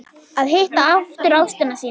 Að hitta aftur ástina sína